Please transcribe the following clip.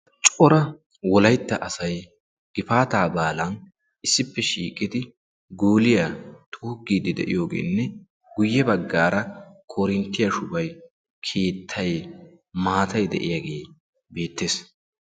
Cora wolaytta asay gifaata baalaan issippe shiiqidi guulliyaa xuugide de'iyoogenne guyye baggara korinttiya shubay, keettay, maatay de'iyaagee beettees.